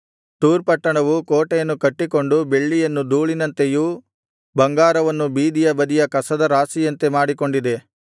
ತೂರ್ ಪಟ್ಟಣವು ಕೋಟೆಯನ್ನು ಕಟ್ಟಿಕೊಂಡು ಬೆಳ್ಳಿಯನ್ನು ಧೂಳಿನಂತೆಯೂ ಬಂಗಾರವನ್ನು ಬೀದಿಯ ಬದಿಯ ಕಸದ ರಾಶಿಯಂತೆ ಮಾಡಿಕೊಂಡಿದೆ